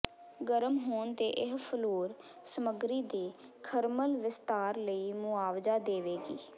ਗਰਮ ਹੋਣ ਤੇ ਇਹ ਫਲੋਰ ਸਮੱਗਰੀ ਦੇ ਥਰਮਲ ਵਿਸਤਾਰ ਲਈ ਮੁਆਵਜ਼ਾ ਦੇਵੇਗੀ